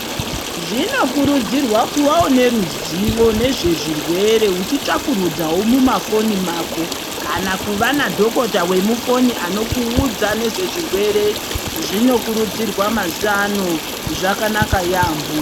Zvinokurudzirwa kuvawo neruzivo nezvezvirwere uchitsvakurudzawo mumafoni mako kana kuva nadhokota wemufoni anokuudza nezvezvirwere. Zvinokurudzirwa mazuvano, zvakanaka yaambo.